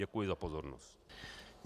Děkuji za pozornost.